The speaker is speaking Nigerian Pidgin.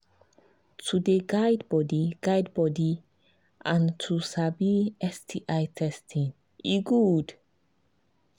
to they guide body guide body and to sabi sbi testing e good